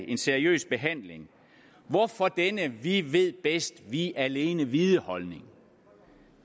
en seriøs behandling hvorfor denne vi ved bedst vi alene vide holdning